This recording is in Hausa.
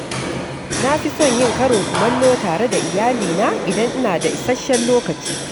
Na fi son yin karin kumallo tare da iyali na idan ina da isasshen lokaci.